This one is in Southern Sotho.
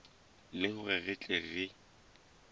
le hore re tle re